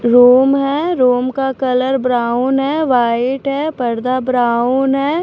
Room है room का colour brown है वाइट है पर्दा ब्राउन है।